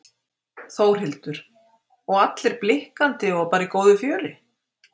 Þórhildur: Og allir blikkandi og bara í góðu fjöri?